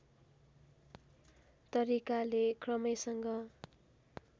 तरिकाले क्रमैसँग